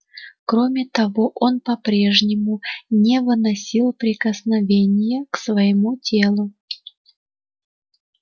кроме того он по прежнему не выносил прикосновения к своему телу